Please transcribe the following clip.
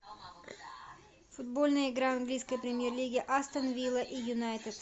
футбольная игра английской премьер лиги астон вилла и юнайтед